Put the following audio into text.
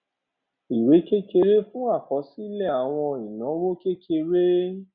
d ìwé owó kékeré fún àkọsílẹ àwọn ìnáwó kékeré